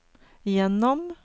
gjennom